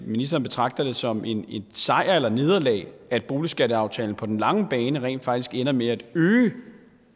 ministeren betragter det som en sejr eller et nederlag at boligskatteaftalen på den lange bane rent faktisk ender med at øge